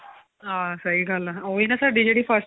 ਹਾਂ ਸਹੀ ਗੱਲ ਏ ਉਹੀ ਨਾ ਸਾਡੀ ਜਿਹੜੀ first